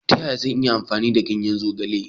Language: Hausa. Ta yaya zan iya amfani da ganyen zogale?